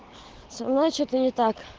значит они так